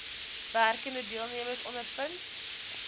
werkende deelnemers ondervind